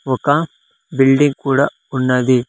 ఒక బిల్డింగ్ కూడా ఉన్నది.